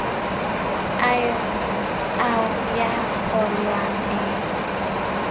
a eo ya ngollwang e